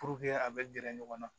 a bɛ gɛrɛ ɲɔgɔn na